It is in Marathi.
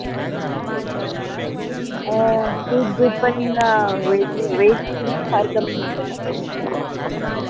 अं foodgood पन अं veggie food फार कमी मिळत तिथे